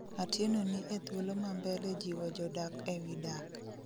Atieno ni e thuolo ma mbele jiwo jodak e wi dak